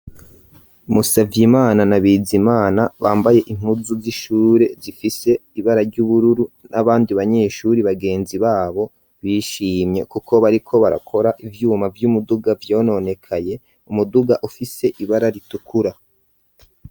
Musavye imana nabiza imana bambaye inkuzu z'ishure zifise ibara ry'ubururu n'abandi banyeshuri bagenzi babo bishimye, kuko bariko barakora ivyuma vy'umuduga vyononekaye umuduga ufise ibara ritukura.